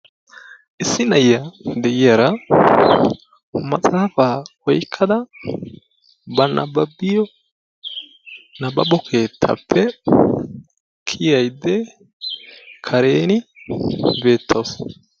issi na'iya de"iyara maxaafa oyqqada ba nabbabbiyo nabbabo keettaappe kiyaydda kareeni beettawusu.